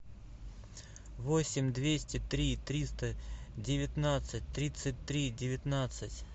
восемь двести три триста девятнадцать тридцать три девятнадцать